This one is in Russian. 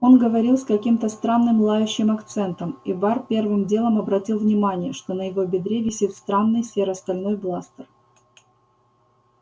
он говорил с каким-то странным лающим акцентом и бар первым делом обратил внимание что на его бедре висит странный серо-стальной бластер